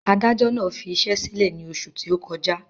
Adájọ́ náà fi iṣẹ́ sílẹ̀ ní oṣù tí ó kọjá